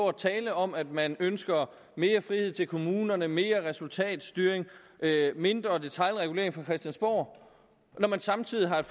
og tale om at man ønsker mere frihed til kommunerne mere resultatstyring og mindre detailregulering fra christiansborg når man samtidig har et